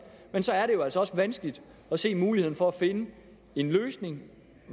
men så er det jo altså også vanskeligt at se muligheden for at finde en løsning